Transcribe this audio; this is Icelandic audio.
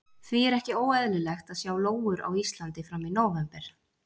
Því er ekki óeðlilegt að sjá lóur á Íslandi fram í nóvember.